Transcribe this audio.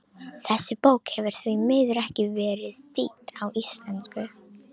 Þessi bók hefur því miður ekki verið þýdd á íslensku.